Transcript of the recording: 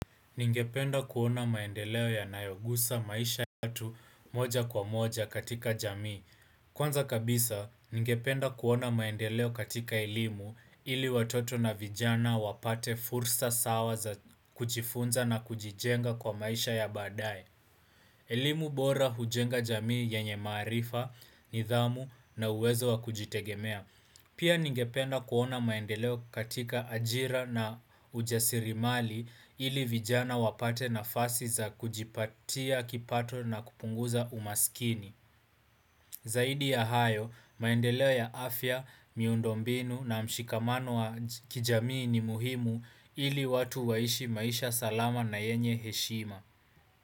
Ningependa kuona maendeleo yanayoguza maisha yetu moja kwa moja katika jamii. Kwanza kabisa, ningependa kuona maendeleo katika elimu ili watoto na vijana wapate fursa sawa za kujifunza na kujijenga kwa maisha ya baadaye. Elimu bora hujenga jamii yenye maarifa, nidhamu na uwezo wa kujitegemea. Pia ningependa kuona maendeleo katika ajira na ujasiriamali ili vijana wapate nafasi za kujipatia, kipato na kupunguza umaskini. Zaidi ya hayo, maendeleo ya afya, miundo mbinu na mshikamano wa kijamii ni muhimu ili watu waishi maisha salama na yenye heshima.